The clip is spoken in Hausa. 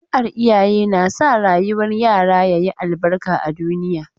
Addu'ar iyaye na sa rayuwar yara ya yi albarka a duniya.